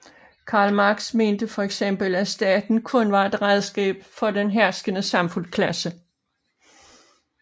Karl Marx mente for eksempel at staten kun var et redskab for den herskende samfundsklasse